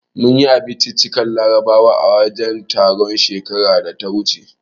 Mun yi abinciccikan Larabawa a wajen taron, shekarar da ta wuce.